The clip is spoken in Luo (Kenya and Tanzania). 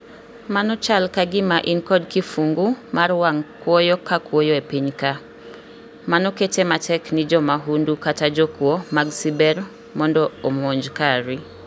mano chal kagima in kod kifungu mar wang' kwoyo ka kwoyo epiny ka. Mano kete matek ni jomahundu kata jokuo mag ciber mondo omonj kari